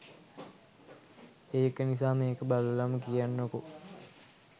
ඒක නිසා මේක බලලම කියන්නකෝ